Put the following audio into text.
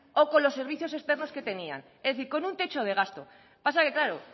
o con los servicios externos que tenían es decir con un techo de gasto lo que pasa que claro